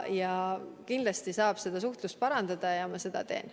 Kindlasti saab seda suhtlust parandada ja seda ma ka teen.